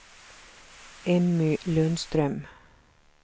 Emmy Lundström